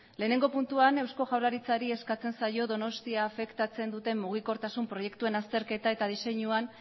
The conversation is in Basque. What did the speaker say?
batgarrena puntuan eusko jaurlaritzari eskatzen zaio donostia afektatzen duten mugikortasun proiektuen azterketa eta diseinuan